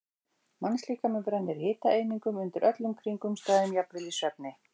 Mannslíkaminn brennir hitaeiningum undir öllum kringumstæðum, jafnvel í svefni.